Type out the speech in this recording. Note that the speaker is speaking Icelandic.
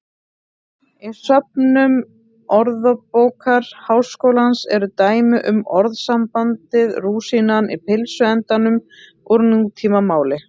Í söfnum Orðabókar Háskólans eru dæmi um orðasambandið rúsínan í pylsuendanum úr nútímamáli.